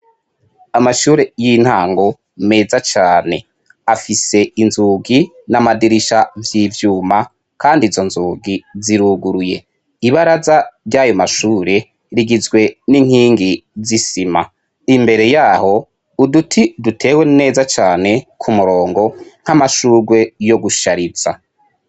Amashure y'intango meza cane afise inzugi n'amadirisha vy'ivyuma kandi izo nzugi ziruguruye. Ibaraza ry'ayo mashure rigizwe n'inkingi z'isima. Imbere yaho uduti dutewe neza cane ku murongo nk'amashurwe yo gushariza.